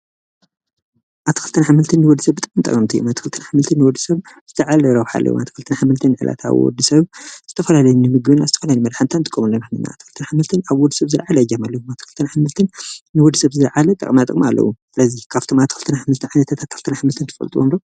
ኣትክልትን ኣሕምልትን ንወደሰብ ብጣዕሚ ጠቀምቲ እዮም። ኣትክልትን ኣሕምልትን ንወድሰብ ዝለዓለ ረብሓ ኣለዎም። ኣትክልትን ኣሕምልትን ንዕለታዊ ንወድሰብ ዝተፈላለዩ ንምግብናን ዝተፈላለዩ ንመድሓኒታት ንጥቀመሎም ኢና። ኣትክልትን ኣሕምልትን ኣብ ወድሰብ ዝለዓለ እጃም ኣለዎም። ኣትክልትን ኣሕምልትን ንወድሰብ ዝላዓለ ጥቅማጥቅሚ ኣለዎም። ስለዚ ካብቶም ኣትክልትን ኣሕምልትን ፍረታት ኣትክልትን ኣሕምልትን ትፈለጥዎም ዶ?